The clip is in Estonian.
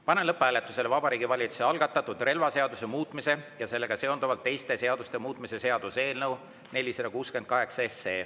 Panen lõpphääletusele Vabariigi Valitsuse algatatud relvaseaduse muutmise ja sellega seonduvalt teiste seaduste muutmise seaduse eelnõu 468.